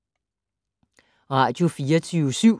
Radio24syv